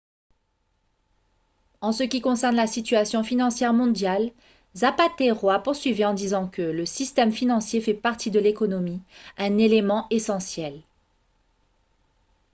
"en ce qui concerne la situation financière mondiale zapatero a poursuivi en disant que "le système financier fait partie de l’économie un élément essentiel.